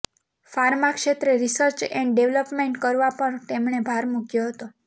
pharma ક્ષેત્રે research and development કરવા પર તેમણે ભાર મૂક્યો હતો